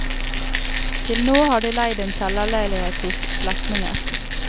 Til nå har de leid en kjellerleilighet hos slektninger.